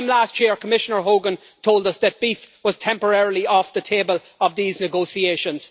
This time last year Commissioner Hogan told us that beef was temporarily off the table of these negotiations.